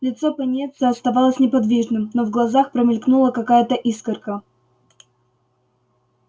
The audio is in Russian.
лицо пониетса оставалось неподвижным но в глазах промелькнула какая-то искорка